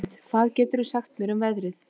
Kristlind, hvað geturðu sagt mér um veðrið?